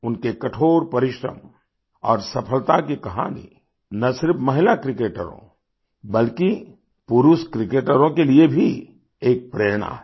उनके कठोर परिश्रम और सफलता की कहानी न सिर्फ महिला क्रिकेटरों बल्कि पुरुष क्रिकेटरों के लिए भी एक प्रेरणा है